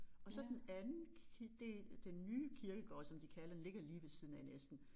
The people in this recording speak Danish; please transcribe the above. Og så den anden del den nye kirkegård som de kalder den ligger lige ved siden af næsten